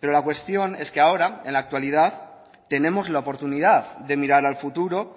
pero la cuestión es que ahora en la actualidad tenemos la oportunidad de mirar al futuro